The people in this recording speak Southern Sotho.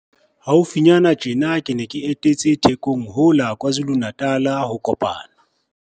Haufinyana tjena ke ne ke etetse Thekong ho la KwaZulu-Natal ho kopana.